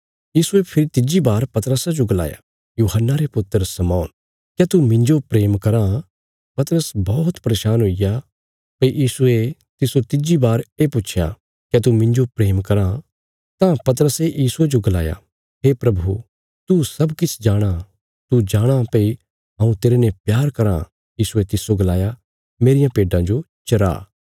यीशुये फेरी तिज्जी बार पतरसा जो गलाया यूहन्ना रे पुत्र शमौन क्या तू मिन्जो प्रेम कराँ पतरस बौहत परेशान हुईग्या भई यीशुये तिस्सो तिज्जी बार ये पुच्छया क्या तू मिन्जो प्रेम कराँ तां पतरसे यीशुये जो गलाया हे प्रभु तू सब किछ जाणाँ तू जाणाँ भई हऊँ तेरने प्रेम कराँ यीशुये तिस्सो गलाया मेरियां भेड्डां जो चरा